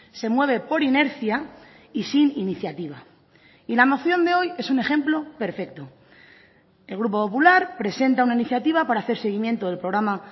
se mueve por inercia y sin iniciativa y la moción de hoy es un ejemplo perfecto el grupo popular presenta una iniciativa para hacer seguimiento del programa